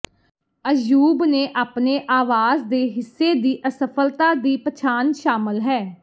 ਅੱਯੂਬ ਨੇ ਆਪਣੇ ਆਵਾਜ਼ ਦੇ ਹਿੱਸੇ ਦੀ ਅਸਫਲਤਾ ਦੀ ਪਛਾਣ ਸ਼ਾਮਲ ਹੈ